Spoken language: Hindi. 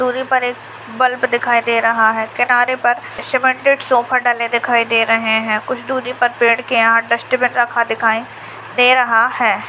दूरी पर एक बल्ब दिखाई दे रहा है किनारे पर सीमेंटेड सोफा डले दिखाई दे रहे है कुछ दूरी पर पेड़ के यहां डस्टबिन रखा दिखाई दे रहा है।